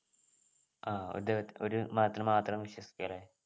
ആഹ് ഒരു ദൈവത് ഒരു മതത്തിൽ മാത്രം വിശ്വസിക്കും അല്ലെ